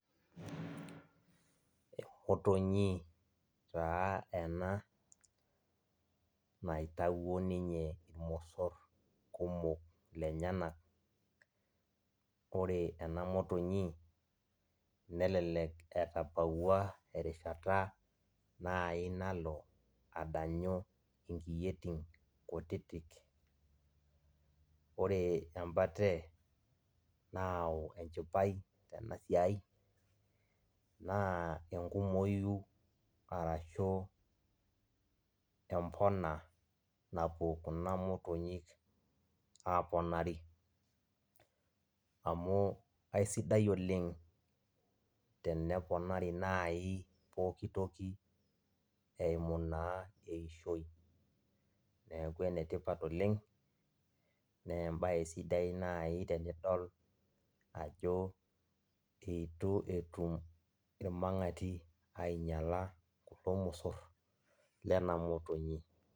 Emotonyi taa ena naitawuo ninye irmosor kumok lenyenak, ore enamotinyi nelelek etabawua erishata nai nalobadanyu nkiyoitin kutitik ore enda na echipae tenasiai na enkumoi arashu empona napuo kuna motonyik aponari amu aisidai oleng teneponari nai poki toki eimu na eishoi neaku enetipat oleng na embae sidai nai tenidol ajo itu etum irmabgati ainyala irmosor lenamotonyi .